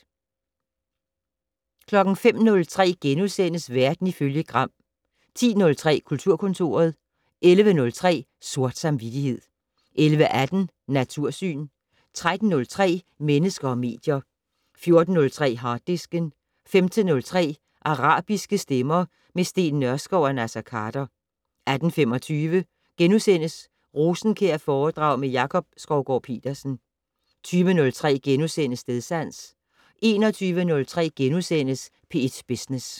05:03: Verden ifølge Gram * 10:03: Kulturkontoret 11:03: Sort samvittighed 11:18: Natursyn 13:03: Mennesker og medier 14:03: Harddisken 15:03: Arabiske stemmer - med Steen Nørskov og Naser Khader 18:25: Rosenkjærforedrag med Jakob Skovgaard-Petersen (6:6)* 20:03: Stedsans * 21:03: P1 Business *